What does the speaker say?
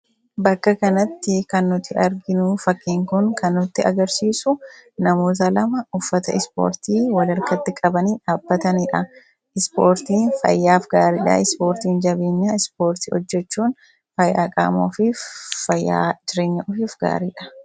bakka kanatti kannuti arginuu fakkiin kun kan nutti agarsiisu namoota lama uffata ispoortii wal harkatti qabanii dhaabbataniidha. ispoortii fayyaaf gaariidhaa. ispoortiin jabeenya, ispoortii hojjechuun fayyaa qaama ofif fayyaa jireenya ofif gaariidha.